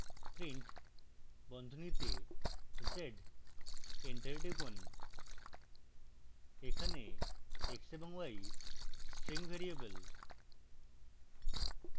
print বন্ধনীতে z enter টিপুন